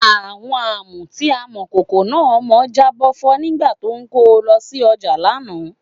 Àwọn Àmù tí Amọ̀kòkò náà mọ jábọ́ fọ́ nígbà tó ń kó o lọ sí ọjà lánàá